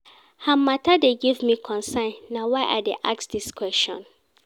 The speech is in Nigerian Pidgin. Her mata dey give me concern, na why I dey ask dis question.